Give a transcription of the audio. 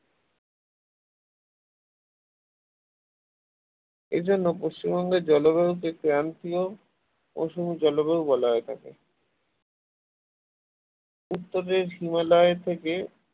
এজন্য পশ্চিমবঙ্গের জলবায়ুকে ক্রান্তীয় মৌসুমী জলবায়ু বলা হয়ে থাকে উত্তরের হিমালয় থেকে